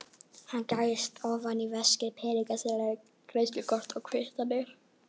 Hann gægist ofan í veskið, peningaseðlar, greiðslukort, kvittanir.